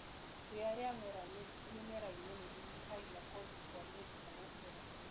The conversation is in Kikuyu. Ria riamera mĩmerainĩ nĩrĩnyihagia kũndu kwa mĩrita gũkũra.